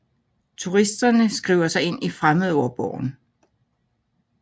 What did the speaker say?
Turisterne skriver sig ind i fremmedborgen